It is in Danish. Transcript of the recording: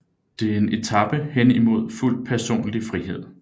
Det er en etape hen imod fuld personlig frihed